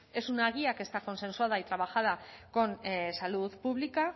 es una guía que está consensuada y trabajada con salud pública